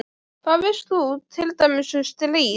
Hvað veist þú til dæmis um stríð?